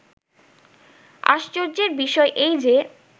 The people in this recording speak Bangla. "আশ্চর্য্যের বিষয় এই যে